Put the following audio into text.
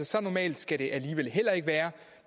så normalt skal det alligevel heller ikke være